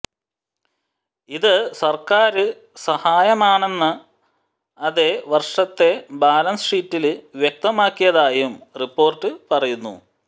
ഇത് സര്ക്കാര് സഹായമാണെന്ന് അതെ വര്ഷത്തെ ബാലന്സ് ഷീറ്റില് വ്യക്തമാക്കിയതായും റിപ്പോര്ട്ട് പറയുന്നു